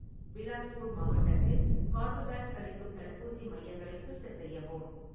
பிலாஸ்பூர் மாவட்டத்தில் கார்பவேக்ஸ் அளிக்கும் தடுப்பூசி மையங்களை ஃபில்டர் செய்யவும்.